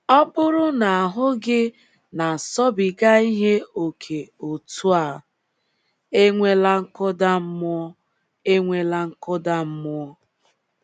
Ọ bụrụ na ahụ́ gị na - asọbiga ihe ókè otú a, enwela nkụda mmụọ enwela nkụda mmụọ!